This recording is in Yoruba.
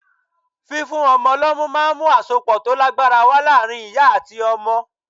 Fífún ọmọ lọ́mú ma ń mú àsopọ̀ tó lágbára wá láàárín ìyá àti ọmọ.